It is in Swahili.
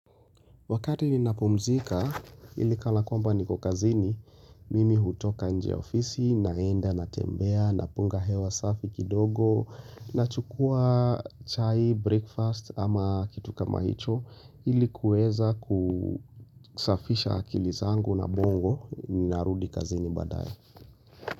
Wakati ninapumzika, ilikala kwamba nikokazini, mimi hutoka nje ya ofisi, naenda, natembea, napumua hewa safi kidogo, na chukua chai, breakfast ama kitu kama hicho, ilikuweza kusafisha akili zangu na bongo, narudi kazini baadaye.